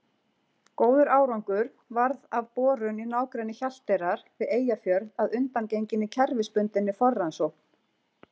Góður árangur varð af borun í nágrenni Hjalteyrar við Eyjafjörð að undangenginni kerfisbundinni forrannsókn.